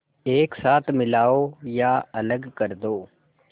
एक साथ मिलाओ या अलग कर दो